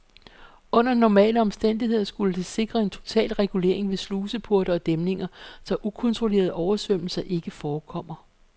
Under normale omstændigheder skulle det sikre en total regulering med sluseporte og dæmninger, så ukontrollerede oversvømmelser ikke forekommer.